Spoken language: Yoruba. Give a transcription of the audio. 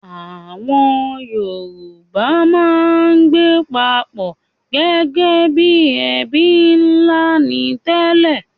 Àwọn Yorùbá máa ń gbé papọ̀ gẹ́gẹ́ bí ẹbí ńlá ni tẹ́lẹ̀